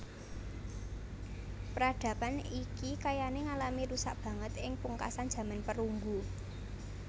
Peradaban iki kayané ngalami rusak banget ing pungkasan jaman perunggu